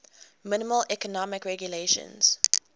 minimal economic regulations